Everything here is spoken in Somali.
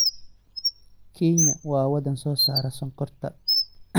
Kenya waa wadan soo saara sonkorta.